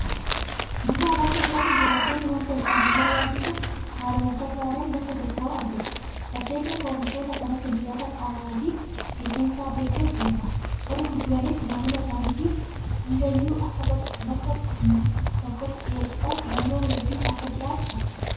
Magaalaa keessatti jiraattonni waanta isaaniif barbaachisu haaluma salphaadhaan bakka tokkoo argatu. fakkeenyaaf oomishoota kan akka dibata qaamaafi rifeensaa argachuun salphaadha. Warri gurguranis maamila isaaniitiif hundayyuu bakka tokkotti dhiyeessuudhaan filannoo hedduun akka jiraatu taasisu.